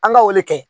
An ka o de kɛ